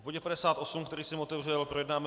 V bodě 58, který jsem otevřel, projednáme